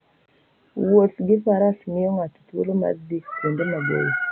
Wuoth gi faras miyo ng'ato thuolo mar dhi kuonde maboyo.